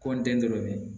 Kɔn den dɔ bɛ ye